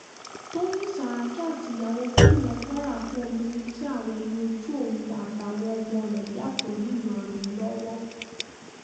tọ́yìn sàràkí àti ìyàwó gómìnà kwara fún obìnrin tí àwọ̀ ẹ̀yìn ojú òun àtàwọn ọmọ rẹ̀ yàtọ̀ ńìlọrin lọ́wọ́